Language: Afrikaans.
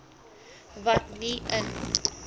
wat nie in